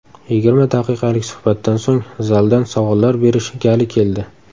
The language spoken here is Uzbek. Yigirma daqiqalik suhbatdan so‘ng zaldan savollar berish gali keldi.